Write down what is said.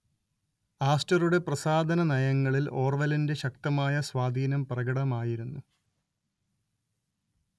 ആസ്റ്ററുടെ പ്രസാധനനയങ്ങളിൽ ഓർവെലിന്റെ ശക്തമായ സ്വാധീനം പ്രകടമായിരുന്നു